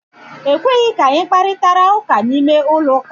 Ekweghị ka anyị kparitara ụka n'ime ụlọ ụka.